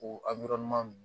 O